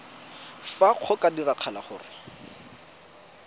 fa go ka diragala gore